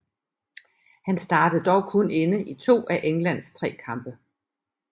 Han startede dog kun inde i to af Englands tre kampe